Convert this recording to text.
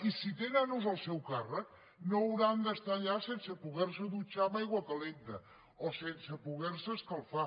i si té nanos al seu càrrec no hauran d’estar allà sense poder se dutxar amb aigua calenta o sense poder se escalfar